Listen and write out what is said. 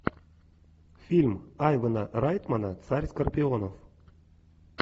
фильм айвана райтмана царь скорпионов